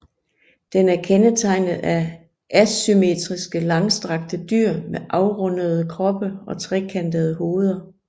Den er kendetegnet af assymetriske langstrakte dyr med afrundede kroppe og trekantede hoveder